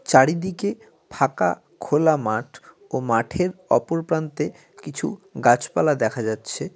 চারিদিকে ফাঁকা খোলা মাঠ ও মাঠের অপরপ্রান্তে কিছু গাছপালা দেখা যাচ্ছে।